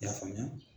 I y'a faamuya